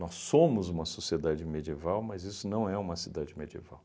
Nós somos uma sociedade medieval, mas isso não é uma cidade medieval.